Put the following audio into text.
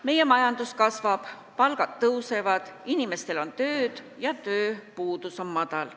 Meie majandus kasvab, palgad tõusevad, inimestel on tööd ja tööpuudus on väike.